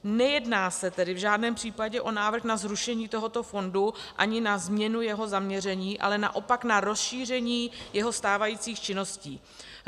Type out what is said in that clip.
Nejedná se tedy v žádném případě o návrh na zrušení tohoto fondu ani na změnu jeho zaměření, ale naopak na rozšíření jeho stávajících činností.